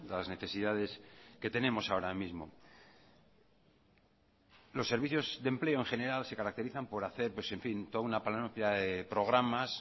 las necesidades que tenemos ahora mismo los servicios de empleo en general se caracterizan por hacer pues en fin toda una panoplia de programas